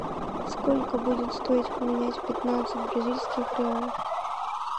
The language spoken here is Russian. сколько будет стоить поменять пятнадцать бразильских реалов